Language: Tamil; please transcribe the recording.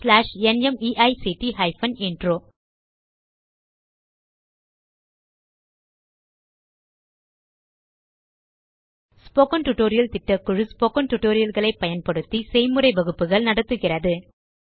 ஸ்போக்கன் டியூட்டோரியல் திட்டக்குழு ஸ்போக்கன் டியூட்டோரியல் களை பயன்படுத்தி செய்முறை வகுப்புகள் நடத்துகிறது